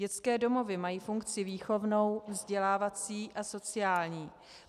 Dětské domovy mají funkci výchovnou, vzdělávací a sociální.